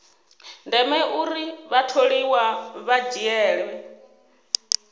ndeme uri vhatholiwa vha dzhiele